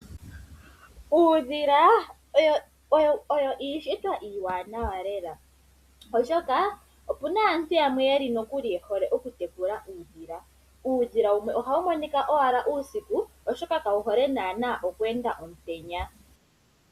Uudhila owo iishitwa iiwanawa lela oshoka opuna aantu yamwe nokuli yehole okutekula uudhila. Uudhila wumwe ohawu monika owala uusiku oshoka kawu hole naanaa okweenda omutenya.